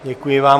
Děkuji vám.